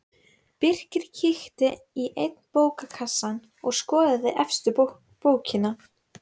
Birkir kíkti í einn bókakassann og skoðaði efstu bókina.